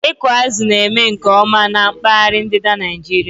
Ịkụ azụ̀ na-eme nke ọma na mpaghara ndịda Nigeria